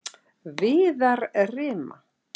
Viðarrima